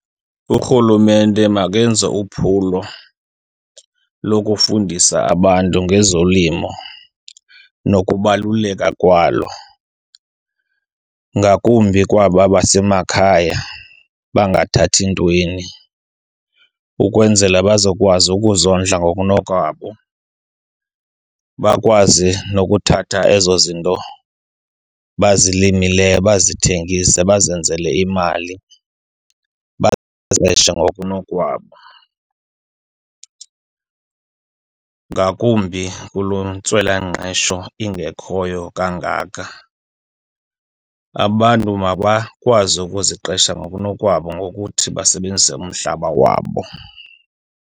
Urhulumente makenze uphulo lokufundisa abantu ngezolimo nokubaluleka kwalo, ngakumbi kwaba basemakhaya bangathathi ntweni. Ukwenzela bazokwazi ukuzondla ngokunokwabo bakwazi nokuthatha ezo zinto bazilimileyo, bazithengise bazenzele imali, baziqeshe ngokunokwabo. Ngakumbi kuloo ntswelangqesho ingekhoyo kangaka, abantu mabakwazi ukuziqesha ngokunokwabo ngokuthi basebenzise umhlaba wabo.